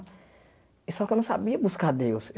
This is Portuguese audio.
Só que eu não sabia buscar Deus.